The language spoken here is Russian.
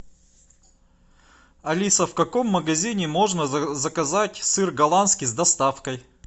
алиса в каком магазине можно заказать сыр голландский с доставкой